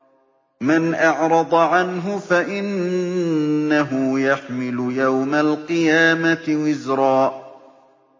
مَّنْ أَعْرَضَ عَنْهُ فَإِنَّهُ يَحْمِلُ يَوْمَ الْقِيَامَةِ وِزْرًا